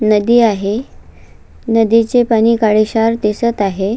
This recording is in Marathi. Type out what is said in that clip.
नदी आहे नदीचे पाणी काळे क्षार दिसत आहे.